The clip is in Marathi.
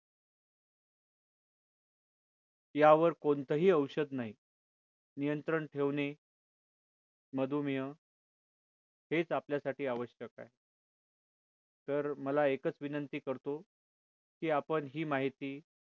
यावर कोणतंही औषध नाही नियंत्रण ठेवणे मधुमेह हेच आपल्यासाठी आवश्यक आहे तर मला एकच विनंती करतो की आपण ही माहिती